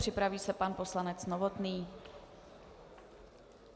Připraví se pan poslanec Novotný.